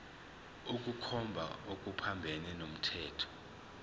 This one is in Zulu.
ukukhomba okuphambene nomthetho